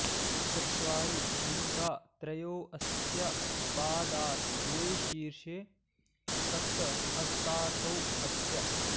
चत्वारि शृङ्गा त्रयो अस्य पादा द्वे शीर्षे सप्त हस्तासो अस्य